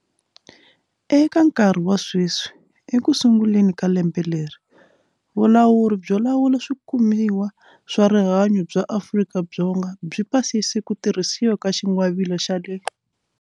Eka nkarhi wa sweswi, ekusunguleni ka lembe leri, Vulawuri byo Lawula Swikumiwa swa Rihanyo bya Afrika-Dzonga byi pasise ku tirhisiwa ka xingwavila xa le.